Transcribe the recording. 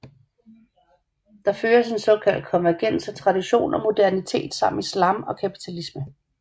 Der føres en såkaldt konvergens af tradition og modernitet samt islam og kapitalisme